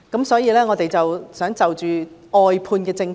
所以，我想先討論外判政策。